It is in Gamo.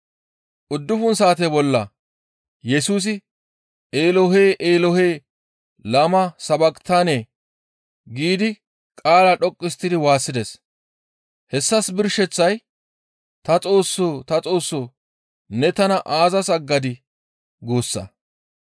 Uddufun saate bolla Yesusi, «Eelohe! Eelohe! Lama sabaqitane» giidi qaala dhoqqu histtidi waassides. Hessas birsheththay «Ta Xoossoo! Ta Xoossoo! Ne tana aazas aggadii?» guussa.